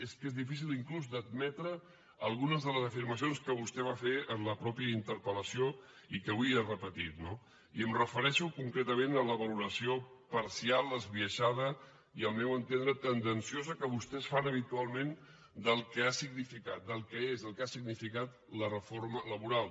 és que és difícil inclús d’admetre algunes de les afirmacions que vostè va fer en la mateixa interpel·lació i que avui ha repetit no i em refereixo concretament a la valoració parcial esbiaixada i al meu entendre tendenciosa que vostès fan habitualment del que ha significat del que és i el que ha significat la reforma laboral